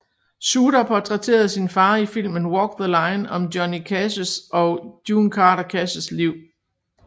Shooter portrætterede sin far i filmen Walk the Line om Johnny Cashs og June Carter Cashs liv